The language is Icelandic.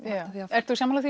ertu sammála því